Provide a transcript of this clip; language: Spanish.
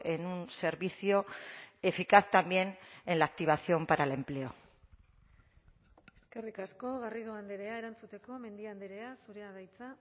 en un servicio eficaz también en la activación para el empleo eskerrik asko garrido andrea erantzuteko mendia andrea zurea da hitza